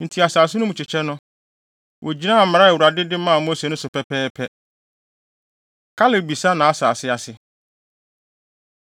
Enti asase no mu kyekyɛ no, wogyinaa mmara a Awurade de maa Mose no so pɛpɛɛpɛ. Kaleb Bisa Nʼasase Ase